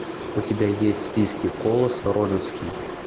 у тебя есть в списке колосс родосский